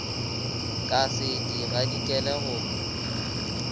ka se di gadikele go